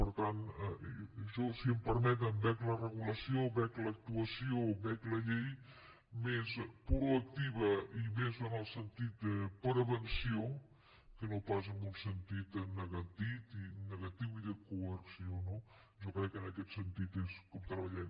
per tant això si em permeten veig la regulació veig l’actuació veig la llei més proactiva i més en el sentit de prevenció que no pas en un sentit en negatiu i de coerció no jo crec que en aquest sentit és com treballem